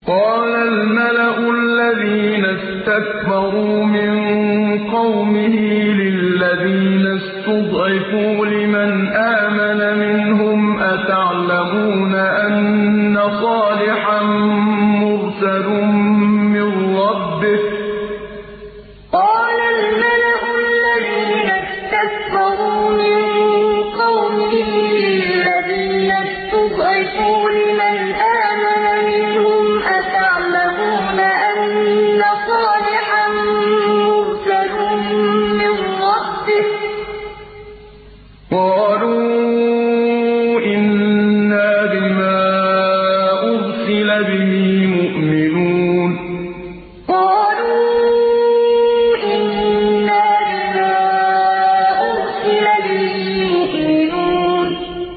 قَالَ الْمَلَأُ الَّذِينَ اسْتَكْبَرُوا مِن قَوْمِهِ لِلَّذِينَ اسْتُضْعِفُوا لِمَنْ آمَنَ مِنْهُمْ أَتَعْلَمُونَ أَنَّ صَالِحًا مُّرْسَلٌ مِّن رَّبِّهِ ۚ قَالُوا إِنَّا بِمَا أُرْسِلَ بِهِ مُؤْمِنُونَ قَالَ الْمَلَأُ الَّذِينَ اسْتَكْبَرُوا مِن قَوْمِهِ لِلَّذِينَ اسْتُضْعِفُوا لِمَنْ آمَنَ مِنْهُمْ أَتَعْلَمُونَ أَنَّ صَالِحًا مُّرْسَلٌ مِّن رَّبِّهِ ۚ قَالُوا إِنَّا بِمَا أُرْسِلَ بِهِ مُؤْمِنُونَ